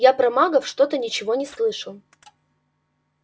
я про магов что-то ничего не слышал